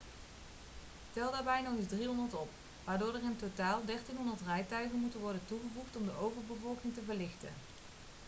tel daarbij nog eens 300 op waardoor er in totaal 1.300 rijtuigen moeten worden toegevoegd om de overbevolking te verlichten